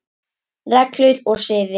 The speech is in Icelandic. Reglur og siði